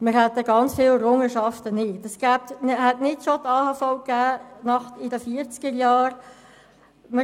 Es hätte die Alters- und Hinterlassenenversicherung (AHV) nicht schon in den 1940er-Jahren gegeben;